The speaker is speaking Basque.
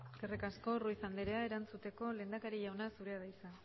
eskerrik asko ruiz anderea erantzuteko lehendakari jauna zurea da hitza